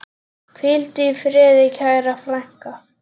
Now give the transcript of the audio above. Hvíldu í friði, kæra frænka.